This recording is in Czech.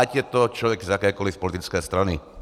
Ať je to člověk z jakékoliv politické strany.